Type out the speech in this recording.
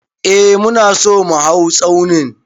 Eh mu na so mu hau tsaunin.